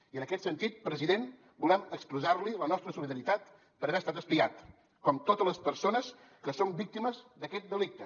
i en aquest sentit president volem expressar li la nostra solidaritat per haver estat espiat com totes les persones que som víctimes d’aquest delicte